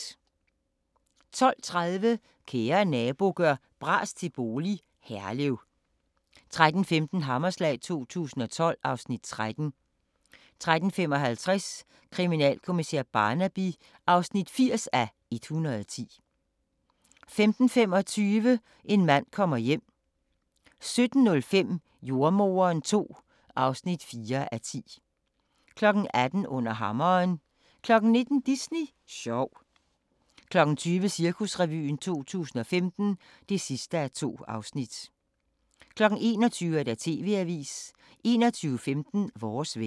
12:30: Kære Nabo – gør bras til bolig – Herlev 13:15: Hammerslag 2012 (Afs. 3) 13:55: Kriminalkommissær Barnaby (80:110) 15:25: En mand kommer hjem 17:05: Jordemoderen II (4:10) 18:00: Under hammeren 19:00: Disney sjov 20:00: Cirkusrevyen 2015 (2:2) 21:00: TV-avisen 21:15: Vores vejr